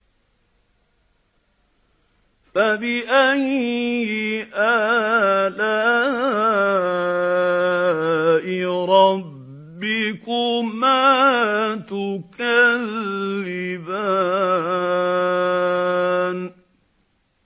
فَبِأَيِّ آلَاءِ رَبِّكُمَا تُكَذِّبَانِ